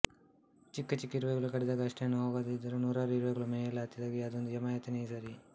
ಚಿಕ್ಕ ಚಿಕ್ಕ ಇರುವೆಗಳು ಕಡಿದಾಗ ಅಷ್ಟೇನೂ ನೋವಾಗದಿದ್ದರೂ ನೂರಾರು ಇರುವೆಗಳು ಮೈಗೆಲ್ಲಾ ಹತ್ತಿದಾಗ ಅದೊಂದು ಯಮಯಾತನೆಯೇ ಸರಿ